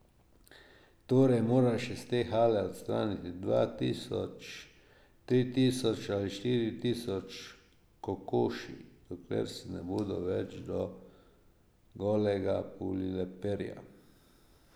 Torej moraš iz te hale odstraniti dva tisoč, tri tisoč ali štiri tisoč kokoši, dokler si ne bodo več do golega pulile perja.